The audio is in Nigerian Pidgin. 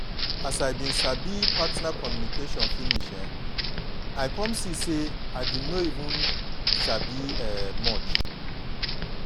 as i been sabi partner communication finish um i come see say i been no even sabi um much